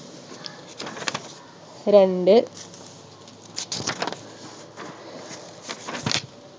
രണ്ട്